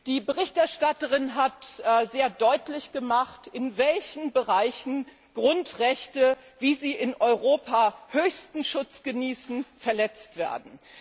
Die Berichterstatterin hat sehr deutlich gemacht, in welchen Bereichen Grundrechte, wie sie in Europa höchsten Schutz genießen, verletzt werden.